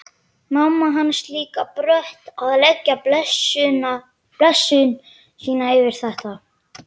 Mamma hans líka brött að leggja blessun sína yfir þetta.